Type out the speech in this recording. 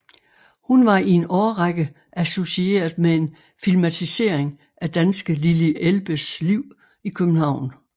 Hun var i en årrække associeret med en filmatisering af danske Lili Elbes liv i København